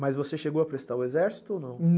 Mas você chegou a prestar o exército ou não?